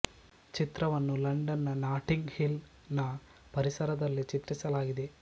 ಚಿತ್ರವನ್ನು ಲಂಡನ್ ನ Notting Hill ನ ಪರಿಸರದಲ್ಲಿ ಚಿತ್ರಿಸಲಾಗಿದೆ